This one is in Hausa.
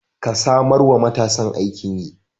Ka samar wa matasan aikin yi.